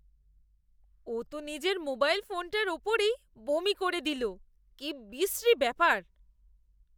ও তো নিজের মোবাইল ফোনটার ওপরেই বমি করে দিল। কি বিশ্রী ব্যাপার!